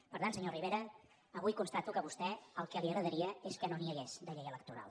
per tant senyor rivera avui constato que a vostè el que li agradaria és que no n’hi hagués de llei electoral